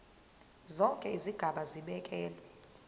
zonke izigaba zibekelwe